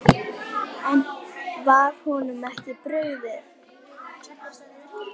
En var honum ekki brugðið?